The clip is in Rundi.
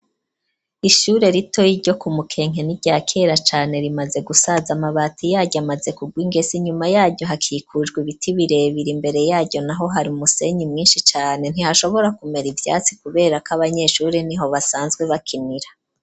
Ishure rito iryo ku mukenke niryakera cane rimaze gusaza amabati yaryo amaze kugwa ingese. Inyuma yaryo hakikujwe ibiti birebire mbere yajyo naho hari umusenyi mwinshi cane ntihashobora kumera ivyatsi kubera ko abanyeshuri niho basanzwe bakinira.